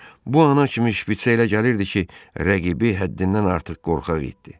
Bu ana kimi Şpiçə elə gəlirdi ki, rəqibi həddindən artıq qorxaq idi.